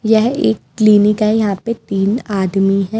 यह एक क्लीनिक है यहां पे तीन आदमी‌‌ हैं।